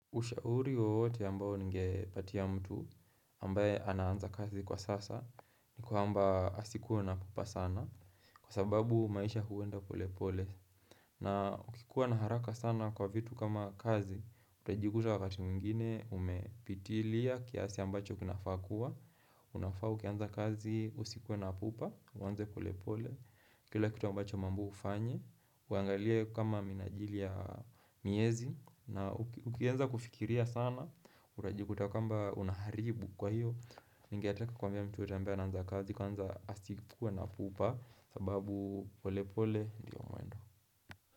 Ushauri wowote ambao ningepatia mtu ambaye anaanza kazi kwa sasa ni kwaamba asikue na pupa sana kwa sababu maisha huenda pole pole. Na ukikuwa na haraka sana kwa vitu kama kazi, utajikuta wakati mwingine umepitilia kiasi ambacho kinafaa kua. Unafaa ukianza kazi usikuwe na pupa, uaanze pole pole, kila kitu ambacho umeambiwa ufanye, uangalia kama minajili ya miezi. Na ukianza kufikiria sana Utajikuta kwamba unaharibu kwa hiyo ningetaka kuambia mtu yeyote ambaye anaanza kazi kwanza asikue na pupa sababu pole pole ndiyo mwendo.